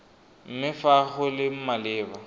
mme fa go le maleba